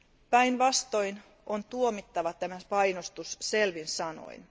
Päinvastoin, on tuomittava tämä painostus selvin sanoin.